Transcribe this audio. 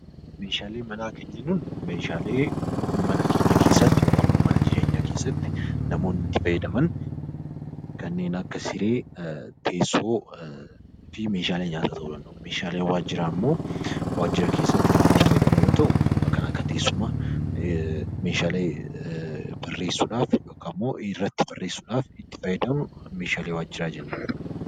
Meeshaalee manaa kan jennuun meeshaalee mana keessatti yookaan immoo mana jireenyaa keessatti namoonni itti fayyadaman kanneen akka siree, teessoo fi meeshaalee nyaataa ta'uu danda'u. Meeshaaleen waajjiraalee immoo waajjira keessatti kan itti fayyadamnu yoo ta'u, akkaataa teessuma meeshaalee barreessuudhaaf yookaan irratti barreessuudhaaf kan fayyadamnudha.